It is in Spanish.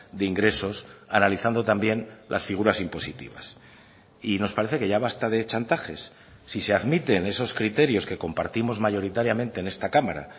de ingresos analizando también las figuras impositivas y nos parece que ya basta de chantajes si se admiten esos criterios que compartimos mayoritariamente en esta cámara